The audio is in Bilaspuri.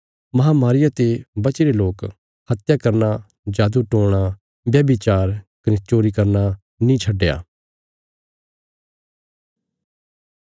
महामारिया ते बचीरे लोकें हत्या करना जादू टोणा व्यभिचार कने चोरी करना नीं छड्डया